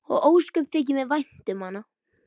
Og ósköp þykir mér vænt um hana.